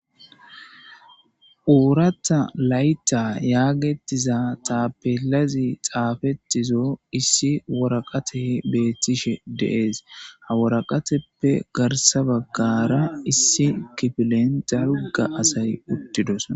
Ooratha laytha yaagettiza taappellazi xaafettiza issi waraqatey beettishe dees ha waraqatappe garsa baggara issi kifilen dalga asay uttidosona.